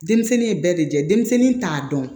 Denmisɛnnin ye bɛɛ de lajɛ denmisɛnnin t'a dɔn